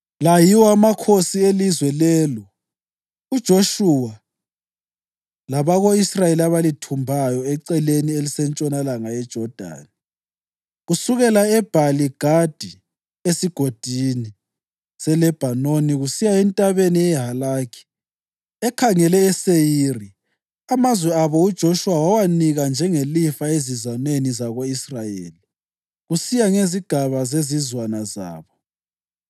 La yiwo amakhosi elizwe lelo uJoshuwa labako-Israyeli abalithumbayo eceleni elisentshonalanga yeJodani, kusukela eBhali-Gadi esiGodini seLebhanoni kusiya eNtabeni yeHalakhi ekhangele eSeyiri (amazwe abo uJoshuwa wawanika njengelifa ezizwaneni zako-Israyeli kusiya ngezigaba zezizwana zabo,